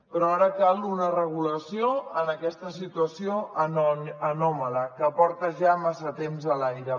però ara cal una regulació en aquesta situació anòmala que porta ja massa temps a l’aire